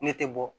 Ne tɛ bɔ